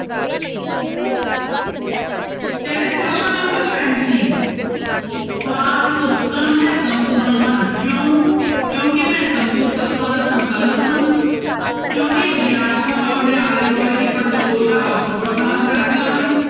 ਕਹਿੰਦੇ ਪ੍ਰਸ਼ਨ number ਪੈਂਤੀ ਪਾਠ ਪੁਸਤਕਾਂ ਮਹੱਤਵਪੂਰਨ ਹਨ ਕਿਉਂ ਕਿਉਂਕਿ ਮਹੱਤਵਪੂਰਨ ਤੱਥਾਂ ਦਾ ਸੰਕਲਨ ਹਨ ਕਿਉਂਕਿ ਵਿਦਿਆਰਥੀਆਂ ਨੂੰ ਆਪਣੇ ਆਲੇ ਦੁਆਲੇ ਦੀ ਪੜਚੋਲ ਦਾ ਅਵਸਰ ਪ੍ਰਦਾਨ ਕਰਦੀਆਂ ਹਨ।